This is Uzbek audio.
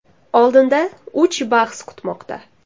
Oldinda uch bahs kutmoqda.